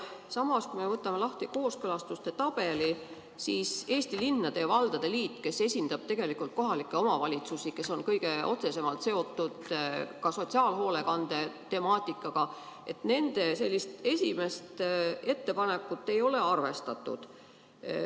Samas, kui me võtame lahti kooskõlastuste tabeli, siis näeme, et Eesti Linnade ja Valdade Liit, kes esindab tegelikult kohalikke omavalitsusi ja on kõige otsesemalt seotud sotsiaalhoolekande temaatikaga, on teinud ka ettepanekuid, aga nende esimest ettepanekut ei ole arvestatud.